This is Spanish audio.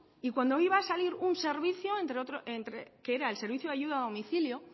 y cuando iba a salir un servicio que era el servicio de ayuda a domicilio